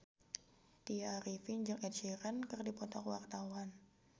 Tya Arifin jeung Ed Sheeran keur dipoto ku wartawan